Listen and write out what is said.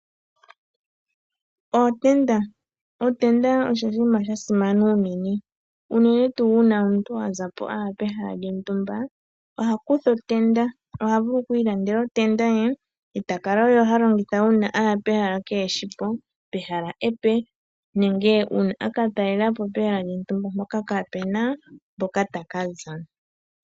Ootenda Otenda osho oshinima sha simana unene. Unene tuu uuna omuntu zapo a ya pehala lyontumba oha kutha otenda. Oha vulu oku ilandela otenda ye, eta kala owala ha longitha uuna aya pehala keeheshi po, pehala epe nenge uuna aka talela po pehala lyontumba mpoka kaa puna mpoka taka za.